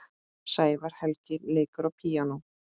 Sævar Helgi leikur á píanó.